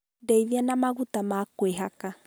Ndeithia na maguta ma kũihaka.